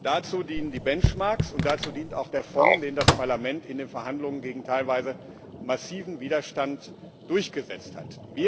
Dazu dienen die Benchmarks, und dazu dient auch der Fonds, den das Parlament in den Verhandlungen gegen teilweise massiven Widerstand durchgesetzt hat.